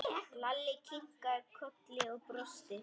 Lalli kinkaði kolli og brosti.